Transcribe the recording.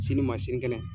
Sini ma sini kɛnɛ